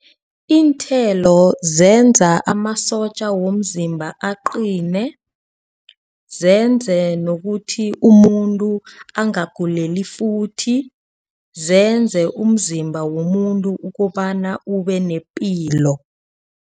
Iinthelo zenza amasotja womzimba aqine. Zenze nokuthi umuntu angaguleli futhi. Zenze umzimba womuntu ukobana ube nepilo.